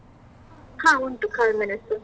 ಹಾ ಉಂಟು ಕಾಳುಮೆಣಸು.